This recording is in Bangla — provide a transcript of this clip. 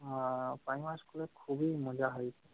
আহ primary school এ খুবই মজা হই~